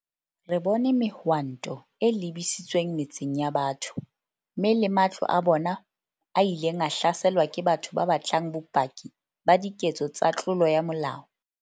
Re bone mehwanto e lebisitsweng metseng ya batho, mme le matlo a bona a ileng a hlaselwa ke batho ba batlang bopaki ba diketso tsa tlolo ya molao.